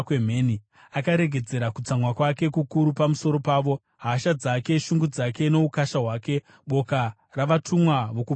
Akaregedzera kutsamwa kwake kukuru pamusoro pavo, hasha dzake, shungu dzake noukasha hwake, boka ravatumwa vokuparadza.